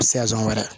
Sɛgɔ wɛrɛ